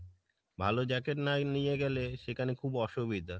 ভালো jacket না নিয়ে গেলে সেখানে খুব অসুবিধা,